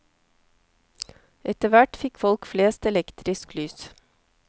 Etter hvert fikk folk flest elektrisk lys.